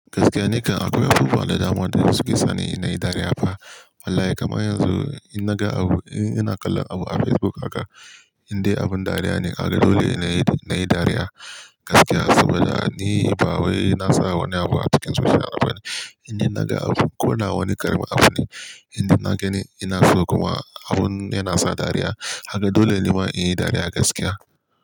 Gaskiya ni kan akwai abubuwa da dama da suke sa ni na yi dariya fa. Wallahi kamar yanzu ina ga abu, in ina kallon abu a Facebook haka, indai abin dariya ne. Kaga dole nayi dariya gaskiya saboda ni ba wai na sa wani abu a cikin zuciya na bane. Indai naga abu ko da wani karamin abu ne, indai naga ni ina so kuma abun yana sa dariya. Kaga dole nima in yi dariya gaskiya.